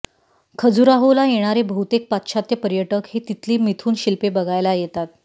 खजुराहोला येणारे बहुतेक पाश्चात्य पर्यटक हे तिथली मिथुन शिल्पे बघायला येतात